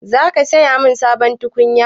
Za ka siyo mun sabon tukunya?